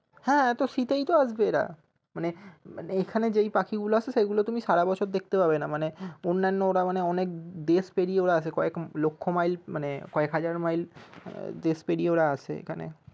হ্যাঁ তো শীতেই তো আসবে এরা মানে এখানে যেই পাখি গুলো আসে সেইগুলো তুমি সারা বছর দেখতে পাবে না মানে অন্যান্য ওরা মানে অনেক দেশ পেরিয়ে ওরা আসে কয়েক লক্ষ্য মাইল মানে কয়েক হাজার মাইল দেশ পেরিয়ে ওরা আসে মানে